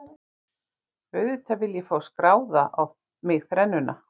Auðvitað vil ég fá skráða á mig þrennuna.